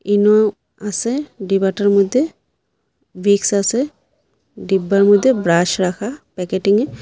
ইনো আসে ডিবাটার মইধ্যে ভিক্স আসে ডিব্বার মইধ্যে ব্রাশ রাখা প্যাকেটিংয়ে।